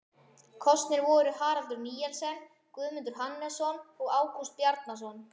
Kosnir voru Haraldur Nielsson, Guðmundur Hannesson og Ágúst Bjarnason.